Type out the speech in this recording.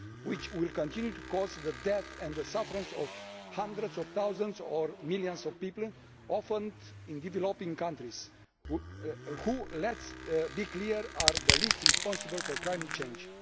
which will continue to cause the death and suffering of hundreds of thousands or millions of people, often in developing countries, who, let us be clear, are the least responsible for climate change.